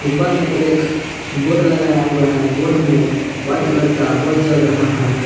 ऊपर में एक बोर्ड लगाया हुआ है बोर्ड में व्हाइट कलर का बोल जल रहा है।